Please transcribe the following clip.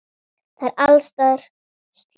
Það er alls staðar slökkt.